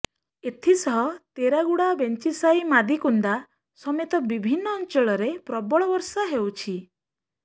ଏଥିସହ ତେରାଗୁଡ଼ା ବେଞ୍ଜିସାହି ମାଦିକୁନ୍ଦା ସମେତ ବିଭିନ୍ନ ଅଞ୍ଚଳରେ ପ୍ରବଳ ବର୍ଷା ହେଉଛି